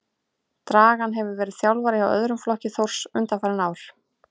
Dragan hefur verið þjálfari hjá öðrum flokki Þórs undanfarin ár.